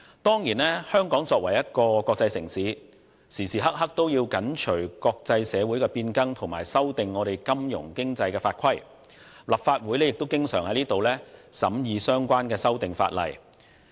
當然，香港作為國際城市，時刻都要緊隨國際社會變更，修訂金融經濟法規，而立法會亦經常審議相關的法例修訂。